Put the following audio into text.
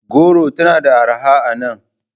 Goron tana da arha a nan.